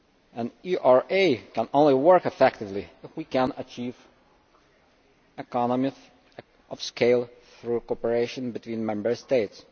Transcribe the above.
An ERA can only work effectively if we can achieve economies of scale through cooperation between Member States.